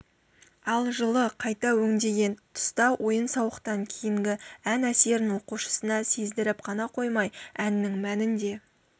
ал жылы қайта өңдеген тұста ойын-сауықтан кейінгі ән әсерін оқушысына сездіріп қана қоймай әннің мәнін де